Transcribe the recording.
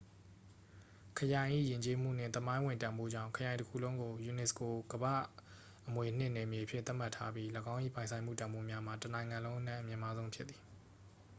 ခရိုင်၏ ယဉ်ကျေးမှုနှင့် သမိုင်းဝင်တန်ဖိုးကြောင့် ခရိုင်တစ်ခုလုံးကို unesco ကမ္ဘာ့အမွေအနှစ်နယ်မြေအဖြစ် သတ်မှတ်ထားပြီး ၎င်း၏ ပိုင်ဆိုင်မှုတန်ဖိုးများမှာ တစ်နိုင်ငံလုံးအနက် အမြင့်မားဆုံးဖြစ်သည်